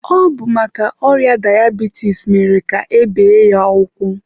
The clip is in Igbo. Ọ bụ maka ọrịa dayabitis mere ka e bee ya ụkwụ.